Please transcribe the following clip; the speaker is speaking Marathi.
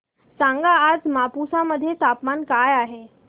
सांगा आज मापुसा मध्ये तापमान काय आहे